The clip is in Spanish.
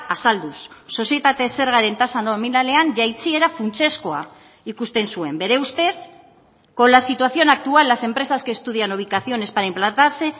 azalduz sozietate zergaren tasa nominalean jaitsiera funtsezkoa ikusten zuen bere ustez con la situación actual las empresas que estudian ubicaciones para implantarse